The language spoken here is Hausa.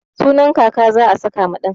Sunan kaka za'a saka ma ɗan.